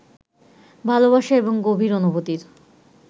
ভালবাসা এবং গভীর অনুভূতির